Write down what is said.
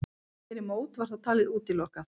Fyrir mót var það talið útilokað.